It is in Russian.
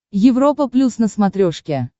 европа плюс на смотрешке